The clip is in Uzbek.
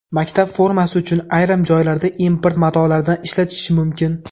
Maktab formasi uchun ayrim joylarda import matolardan ishlatilishi mumkin.